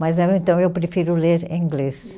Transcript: Mas aí eu então, eu prefiro ler em inglês.